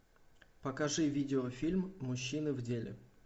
покажи видеофильм мужчины в деле